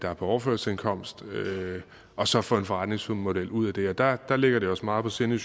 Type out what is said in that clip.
er på overførselsindkomst og så få en forretningsmodel ud af det der der ligger det os meget på sinde